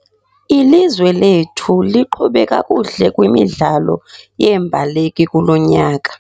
Ilizwe lethu liqhube kakuhle kwimidlalo yeembaleki kulo nyaka.